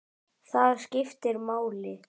Það skiptir máli.